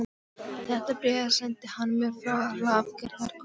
Þetta bréf sendi hann mér frá Hlaðgerðarkoti.